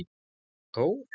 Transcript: Hann Þór?